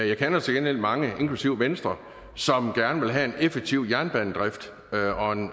jeg kender til gengæld mange inklusive venstre som gerne vil have en effektiv jernbanedrift